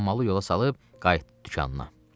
Hammalı yola salıb qayıtdı dükanına.